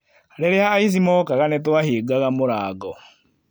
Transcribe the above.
Rĩrĩa aici mookaga nĩ twahingaga mũrango